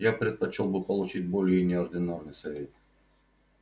я предпочёл бы получить более неординарный совет